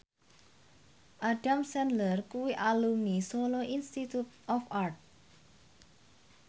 Adam Sandler kuwi alumni Solo Institute of Art